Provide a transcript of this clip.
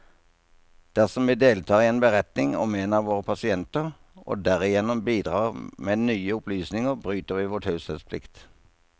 Dersom vi deltar i en beretning om en av våre pasienter, og derigjennom bidrar med nye opplysninger, bryter vi vår taushetsplikt.